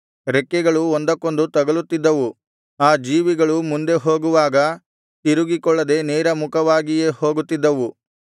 ರೆಕ್ಕೆಗಳು ಒಂದಕ್ಕೊಂದು ತಗಲುತ್ತಿದ್ದವು ಆ ಜೀವಿಗಳು ಮುಂದೆ ಹೋಗುವಾಗ ತಿರುಗಿಕೊಳ್ಳದೆ ನೇರ ಮುಖವಾಗಿಯೇ ಹೋಗುತ್ತಿದ್ದವು